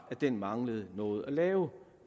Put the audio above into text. at den mangler noget at lave